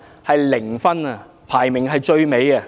是零分，排名最後。